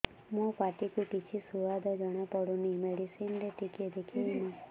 ମୋ ପାଟି କୁ କିଛି ସୁଆଦ ଜଣାପଡ଼ୁନି ମେଡିସିନ ରେ ଟିକେ ଦେଖେଇମି